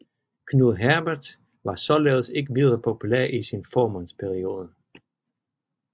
Knud Herbert var således ikke videre populær i sin formandsperiode